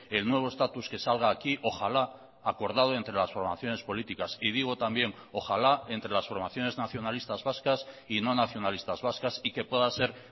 el nuevo estatus que salga aquí ojalá acordado entre las formaciones políticas y digo también ojalá entre las formaciones nacionalistas vascas y no nacionalistas vascas y que pueda ser